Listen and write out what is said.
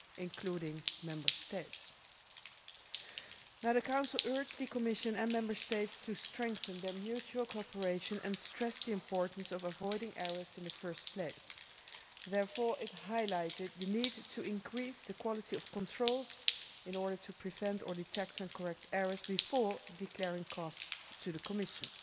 including Member States. The Council urged the Commission and Member States to strengthen their mutual cooperation and stressed the importance of avoiding errors in the first place. Therefore it highlighted the need to increase the quality of controls in order to prevent or detect and correct errors before declaring costs to the Commission.